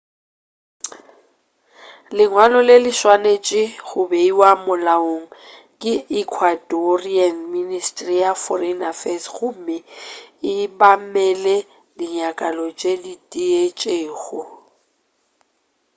lengwalo le le swanetše go beiwa molaong ke ecuadorian ministry ya foreign affairs gomme e obamele dinyakwa tše diitšego